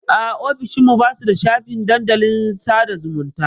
A'a, ofishin mu ba su da shafin dandalin sada zumunta.